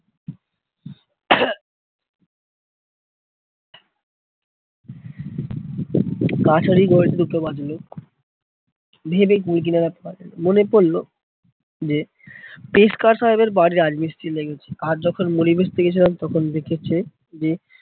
ঘড়িতে দুটো বাজলো। ভেবে কুল কিনারা মনে পরলো যে পেশকার সাহেবের বাড়ির রাজমিস্ত্রী লেগেছে, আজ যখন মুড়ি বেচতে গেছিলাম তখন দেখেছে যে